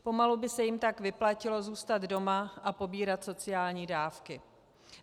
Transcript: Pomalu by se jim tak vyplatilo zůstat doma a pobírat sociální dávky.